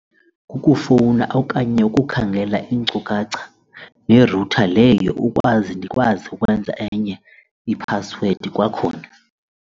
Ukufowuna okanye ukukhangela iinkcukacha yerutha leyo ukwazi ndikwazi ukwenza enye iphasiwedi kwakhona.